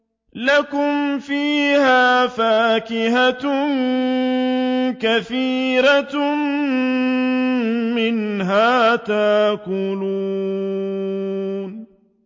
لَكُمْ فِيهَا فَاكِهَةٌ كَثِيرَةٌ مِّنْهَا تَأْكُلُونَ